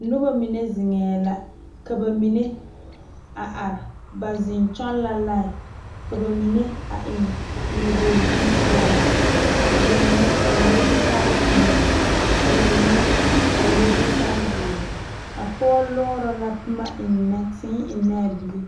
Noba mine zeŋe la ka bamine a are ba zeŋ kyɔŋ la lae ka bamine eŋ noɔbore bonpoɔraa ka bamine a le zutal peɛle ka bamine a le zutal ziiri a pɔge lɔre la .